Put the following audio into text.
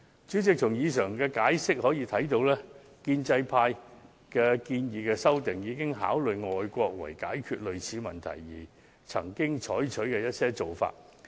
主席，根據上述闡釋，大定便明白建制派的修訂建議，已參考外地議會為解決類似問題而曾採取的一些做法。